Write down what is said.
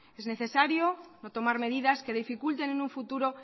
es necesario no tomar medidas que dificulten en un futuro